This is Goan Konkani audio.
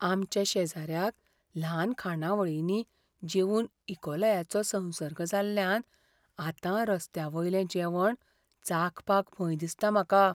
आमच्या शेजाऱ्याक ल्हान खाणावळींनी जेवून इकोलायाचो संसर्ग जाल्ल्यान आतां रस्त्यावयलें जेवण चाखपाक भंय दिसता म्हाका .